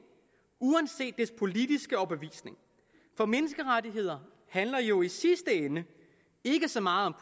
uanset dets politiske overbevisning for menneskerettigheder handler jo i sidste ende ikke så meget om